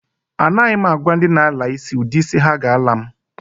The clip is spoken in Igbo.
A naghi m agwa ndi na-ala isi udi isi ha ga-ala m.